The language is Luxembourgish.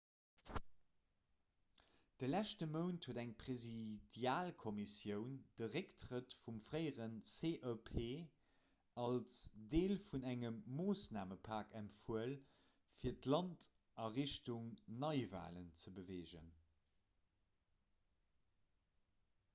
de leschte mount huet eng presidialkommissioun de récktrëtt vum fréiere cep als deel vun engem moossnamepak empfuel fir d'land a richtung neiwalen ze beweegen